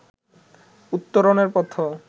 উত্তরণের পথও